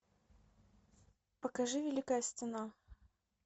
покажи великая стена